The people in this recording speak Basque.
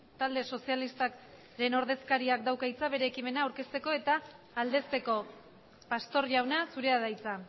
talde sozialistaren ordezkariak dauka hitza bere ekimena aurkezteko eta aldezteko pastor jauna zurea da hitza